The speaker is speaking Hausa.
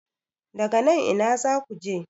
daga nan Ina za ku je?